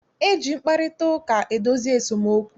E ji mkparịtaụka edozi esemokwu.